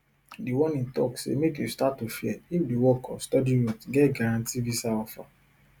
di warning tok say make you start to fear if di work or study route get guarantee visa offer